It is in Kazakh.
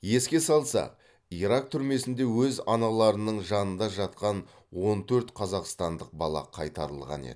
еске салсақ ирак түрмесінде өз аналарының жанында жатқан он төрт қазақстандық бала қайтарылған еді